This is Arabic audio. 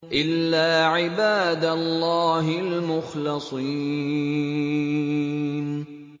إِلَّا عِبَادَ اللَّهِ الْمُخْلَصِينَ